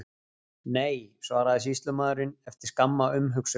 Nei, svaraði sýslumaðurinn, eftir skamma umhugsun.